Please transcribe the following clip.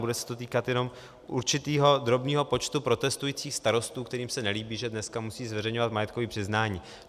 Bude se to týkat jenom určitého drobného počtu protestujících starostů, kterým se nelíbí, že dneska musí zveřejňovat majetkové přiznání.